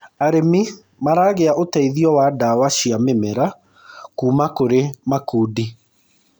arĩmi maragia uteithio wa ndawa cia mĩmera kuma kuri makundi